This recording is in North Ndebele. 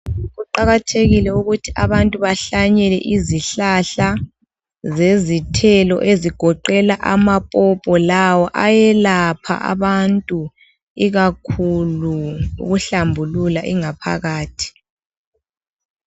Kuqakathekile ukuthi abantu bahlanyele izihlahla zezithelo ezigoqela amapopo lawo ayelapha abantu. Ikakhulu ukuhlambulula ingaphakathi.